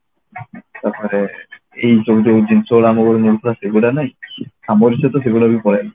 ତାପରେ ଏଇ ସବୁ ଯଉ ଜିନିଷ ଗୁଡା ଆମ ବେଳେ ମିଳୁଥିଲା ସେଗୁଡା ନାହିଁ ଆମରି ସହିତ ସେଗୁଡା ବି ପଳେଇଲା